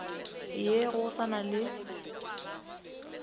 ye go sa na le